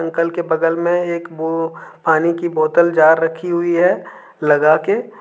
निकल के बगल में एक वो पानी की बोतल जार रखी हुई है लगा के।